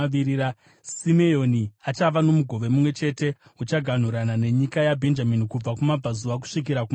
Simeoni achava nomugove mumwe chete; uchaganhurana nenyika yaBhenjamini kubva kumabvazuva kusvika kumavirira.